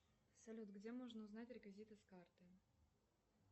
салют где можно узнать реквизиты с карты